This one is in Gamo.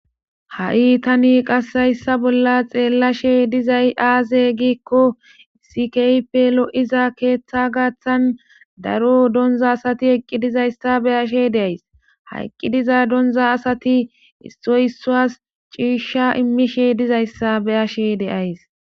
ha7i tani qassayssa bolla xeellashe dizay aaze giikko sikeype lo7iza keeththa gaaththan daro donza asati eqqi dizayssa beyashe deays hayqqi diza donza asati issoy issuas ciishsha immishe dizayssa beyashe deays